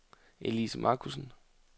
Elise Markussen